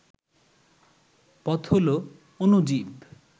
পথ হল অ্ণুজীব